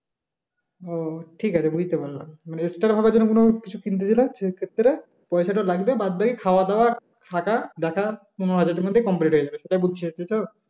ওহ ঠিকাছে বুঝতে পারলাম মানে extra ভাবে কোন কিছু কিনতে গেলে সেক্ষেত্রে পয়সাটা লাগবে বাদবাকি খাওয়াদাওয়া থাকা পনেরো হাজারের মধ্যে complete হয়ে যাবে সেটা বুঝছি এইতো